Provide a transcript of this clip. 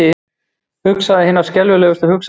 Hugsaði hinar skelfilegustu hugsanir.